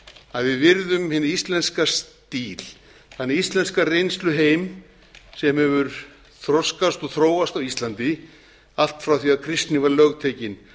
að við virðum hinn íslenska stíl þann íslenska reynsluheim sem hefur þroskast og þróast á íslandi allt frá því að kristni var lögtekin af